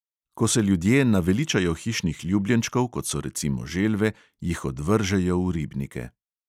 Ko se ljudje naveličajo hišnih ljubljenčkov, kot so recimo želve, jih odvržejo v ribnike.